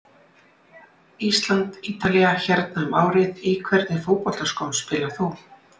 Ísland-Ítalía hérna um árið Í hvernig fótboltaskóm spilar þú?